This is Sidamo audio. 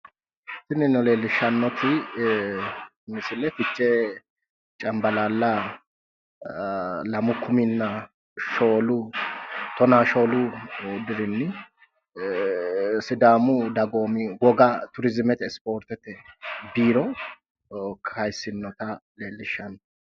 Tinino leellishshannoti misile fichee cambalaalla lamu kuminna tonaa shoolu maarote dirinni sidaamu dagoomi woga turiziimete ispoortete biiro kayissinnota leellishshanno.